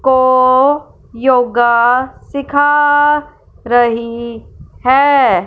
को योगा सीखा रही है।